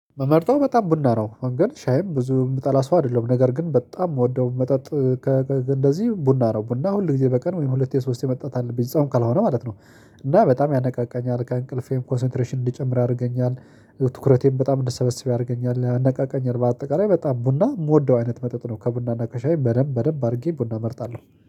ምመርጠው በጣም ቡና ነው በርግጥ ሻይም ብዙ የምጠላ ሰው አይደለሁም ነገር ግን በጣም የምወደው መጠጥ። እንደዚህ ቡና ነው ቡና ሁል ጊዜ በቀን ወይም ሁለቴ ሶስቴ መጠጣት አለብኝ ጾም ካልሆነ ማለት ነው። እና በጣም ያነቃቃኛል ከእንቅልፌም ኮንሰንትሬሽን እንድጨምር ያደርገኛል። ትኩረቴን በጣም እንድሳበስብ ያደርገኛል ያነቃቃኛል በአጠቃላይ በጣም ቡና የምወደው አይነት መጠጥ ነው። ከቡና እና ከሻይ በደንብ በደንብ አድርጌ ቡና እመርጣለሁ